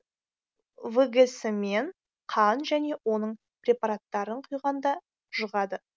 вгс мен қан және оның препараттарын құйғанда жұғады